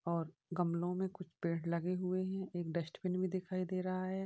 और गमलों में कुछ पेड़ लगे हुए हैं। एक डस्टबिन भी दिखाई दे रहा है।